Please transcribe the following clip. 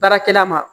Baarakɛla ma